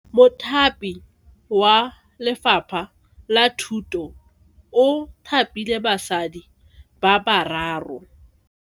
Mothapi wa Lefapha la Thuto o thapile basadi ba ba raro.